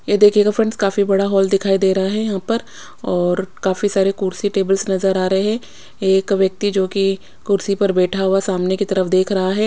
ये देखियेगा फ्रेंड्स काफी बड़ा हॉल दिखाई दे रहा है यहाँ पर और काफी सारी कुर्सी टेबल्स नज़र आ रहे है एक व्यक्ति जो की कुर्सी पर बेठा हुआ सामने की तरफ देख रहा है।